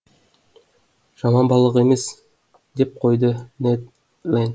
жаман балық емес деп қойды нед ленд